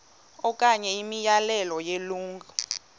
okanye imiyalelo yelungu